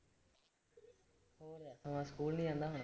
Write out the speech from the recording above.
ਹਾਂ ਸਕੂਲ ਨੀ ਜਾਂਦਾ ਹੁਣ।